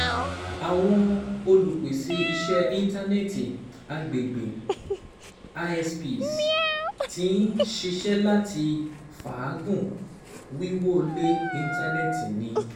Awọn olupese iṣẹ intanẹẹti agbegbe (ISPs) ti n ṣiṣẹ lati faagun wiwọle intanẹẹti ni